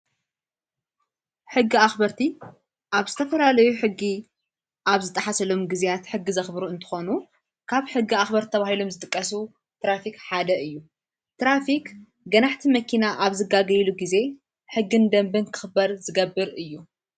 ሕጊ ኣኽበርቲ ኣብ ዝተፈላለዩ ሕጊ ኣብ ዝጠሓሰሎም ጊዜያት ሕጊ ዘኽብሩ እንተኾኑ ካብ ሕጊ ኣኽበርት ተባሂሎም ዝጥቀሱ ትራፊኽ ሓደ እዩ ትራፊቅ ገናኅቲ መኪና ኣብ ዝጋገ ኢሉ ጊዜ ሕግንደንበን ክኽበር ዝገብር እዩ::